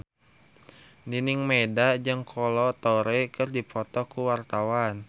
Nining Meida jeung Kolo Taure keur dipoto ku wartawan